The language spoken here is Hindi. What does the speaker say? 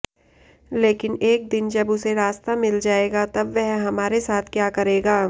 लेकिन एक दिन जब उसे रास्ता मिल जाएगा तब वह हमारे साथ क्या करेगा